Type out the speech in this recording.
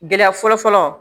Gɛlɛya fɔlɔfɔlɔ